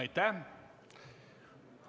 Aitäh!